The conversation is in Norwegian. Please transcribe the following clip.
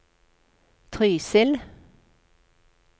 Trysil